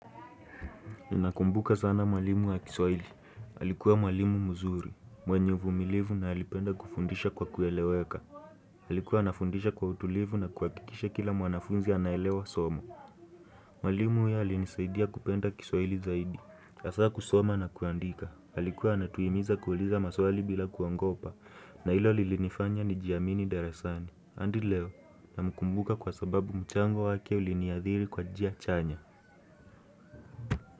Ninakumbuka sana mwalimu wa kiswahili. Alikuwa mwalimu mzuri. Mwenye uvumilivu na alipenda kufundisha kwa kueleweka. Alikuwa anafundisha kwa utulivu na kuhakikisha kila mwanafunzi anaelewa somo. Mwalimu huyu alinisaidia kupenda kiswahili zaidi. Hasa kusoma na kuandika. Alikuwa anatuhimiza kuuliza maswali bila kuogopa. Na hilo lilinifanya nijiamini darasani. Hadi leo namkumbuka kwa sababu mchango wake uliniadhili kwa njia chanya.